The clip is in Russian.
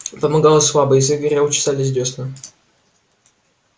помогало слабо язык горел чесались дёсны